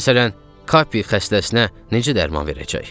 Məsələn, Kapi xəstəsinə necə dərman verəcək?